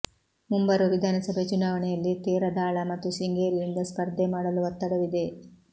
ಮುಂಬರುವ ವಿಧಾನಸಭೆ ಚುನಾವಣೆಯಲ್ಲಿ ತೇರದಾಳ ಮತ್ತು ಶೃಂಗೇರಿಯಿಂದ ಸ್ಪರ್ಧೆ ಮಾಡಲು ಒತ್ತಡವಿದೆ